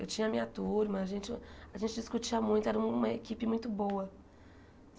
Eu tinha a minha turma, a gente a gente discutia muito, era uma equipe muito boa.